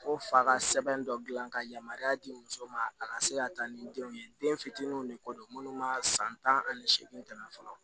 Ko fa ka sɛbɛn dɔ dilan ka yamaruya di muso ma a ka se ka taa ni denw ye den fitininw de ko don munnu ma san tan ani seegin tɛmɛ fɔlɔ